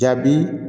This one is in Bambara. Jaabi